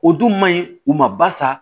O dun man ɲi u ma basa